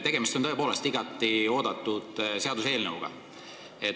Tegemist on tõepoolest igati oodatud seaduseelnõuga.